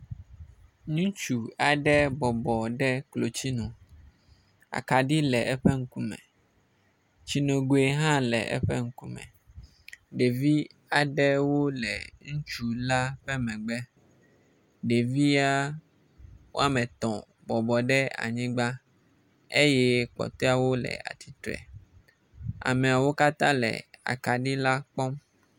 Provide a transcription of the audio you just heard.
Ŋutsu aɖe bɔbɔ ɖe klotsinu. Akaɖi le eƒe ŋkume, tsinogui hã le eƒe ŋkume. Ɖevi aɖewo le ŋutsu la ƒe megbe. Ɖevia wome etɔ̃ bɔbɔ ɖe anyigba eye kpɔtɔawo le atsitre. Ameawo katã le akaɖi la kpɔm.